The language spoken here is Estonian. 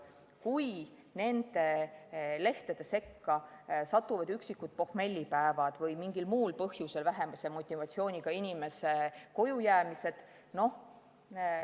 Kui nende lehtede sekka satuvad üksikud pohmellipäevad või mingil muul põhjusel vähese motivatsiooniga inimese kojujäämised ... nojah.